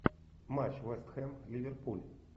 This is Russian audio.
матч вест хэм ливерпуль